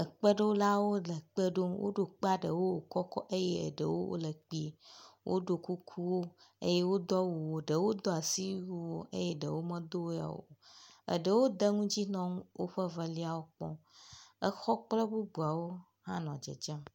Ekpeɖolawole kpe ɖom. Woɖo ekpea ɖewo wo kɔkɔ eye eɖewo wo le kpuie. Woɖo kuku eye wodo awu ɖewo do asiwu eye ɖewo medo eya o. Ɖewo ede nu dzi nɔ woƒe veliawo kpɔm. exɔ kple bubuawo hã nɔ dzedzem.